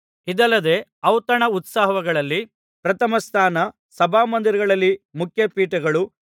ಇದಲ್ಲದೆ ಔತಣ ಉತ್ಸವಗಳಲ್ಲಿ ಪ್ರಥಮಸ್ಥಾನ ಸಭಾಮಂದಿರಗಳಲ್ಲಿ ಮುಖ್ಯ ಪೀಠಗಳು